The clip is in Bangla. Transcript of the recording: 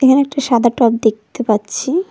এখানে একটা সাদা টব দেখতে পাচ্ছি-ই।